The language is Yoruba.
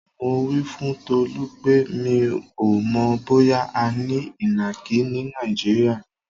Mo wí fún Tolú pé mi ò mò̩ bóyá a ní ìnàkí ní Nàìjíríà.